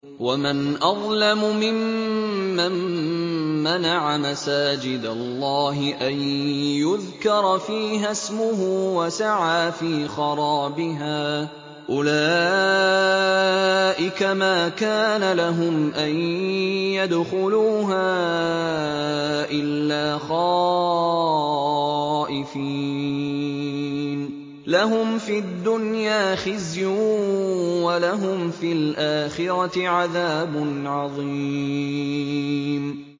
وَمَنْ أَظْلَمُ مِمَّن مَّنَعَ مَسَاجِدَ اللَّهِ أَن يُذْكَرَ فِيهَا اسْمُهُ وَسَعَىٰ فِي خَرَابِهَا ۚ أُولَٰئِكَ مَا كَانَ لَهُمْ أَن يَدْخُلُوهَا إِلَّا خَائِفِينَ ۚ لَهُمْ فِي الدُّنْيَا خِزْيٌ وَلَهُمْ فِي الْآخِرَةِ عَذَابٌ عَظِيمٌ